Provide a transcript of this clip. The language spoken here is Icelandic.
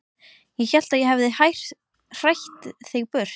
Ég hélt að ég hefði hrætt þig burt.